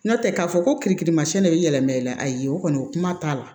N'o tɛ k'a fɔ ko kiri kirimasinɛ de bɛ yɛlɛma i la ayi o kɔni o kuma t'a la